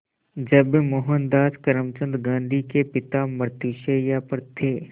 जब मोहनदास करमचंद गांधी के पिता मृत्युशैया पर थे